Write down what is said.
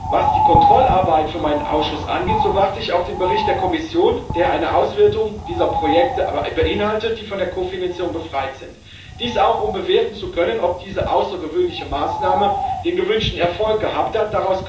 Was die Kontrollarbeit für meinen Ausschuss angeht, so warte ich auf den Bericht der Kommission, der eine Auswertung dieser Projekte beinhaltet, die von der Kofinanzierung befreit sind dies auch um bewerten zu können, ob diese außergewöhnliche Maßnahme den gewünschten Erfolg gehabt hat.